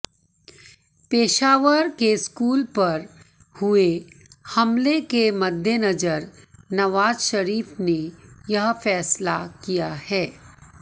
पेशावर के स्कूल पर हुए हमले के मद्देनजर नवाज शरीफ ने यह फैसला किया है